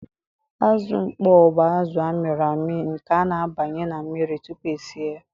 Azụ mkpọ bụ azụ a mịrị amị nke a na-abanye na mmiri tupu e si ya.